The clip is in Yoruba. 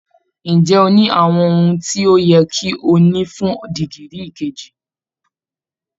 Ǹjẹ́ o ní àwọn ohun tí ó yẹ kí o ní fún dìgírì kejì?